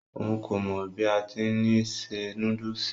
Òun kò mọ bí a ti ni se núdùùsì.